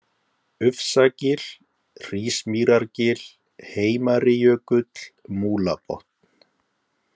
Ufsagil, Hrísmýrargil, Heimarijökull, Múlabotn